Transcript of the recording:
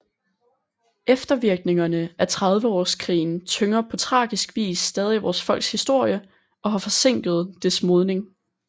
Eftervirkningerne af Trediveårskrigen tynger på tragisk vis stadig vores folks historie og har forsinket dets modning